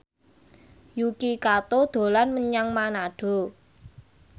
Yuki Kato dolan menyang Manado